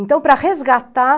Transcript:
Então, para resgatar...